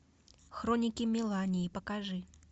хроники мелании покажи